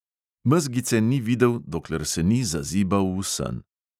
Mezgice ni videl, dokler se ni zazibal v sen.